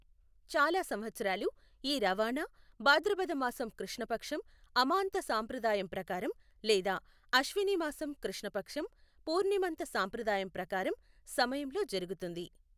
చాలా సంవత్సరాలు, ఈ రవాణా, భాద్రపద మాసం కృష్ణ పక్షం, అమాంత సంప్రదాయం ప్రకారం, లేదా అశ్విని మాసం కృష్ణ పక్షం, పూర్ణిమంత సంప్రదాయం ప్రకారం, సమయంలో జరుగుతుంది.